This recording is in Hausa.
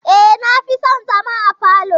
E, na fi son zama a falo.